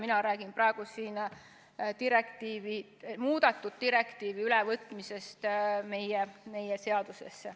Mina räägin siin muudetud direktiivi ülevõtmisest meie seadusesse.